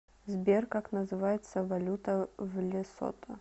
сбер как называется валюта в лесото